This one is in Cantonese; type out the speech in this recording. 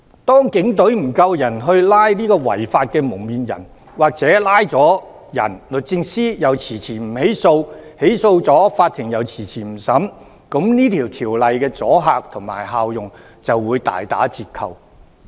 當警隊人手不足以拘捕違法的"蒙面人"，或拘捕後律政司遲遲不起訴，起訴後法庭又遲遲不審理，這項條例的阻嚇力及效用就會大打折扣。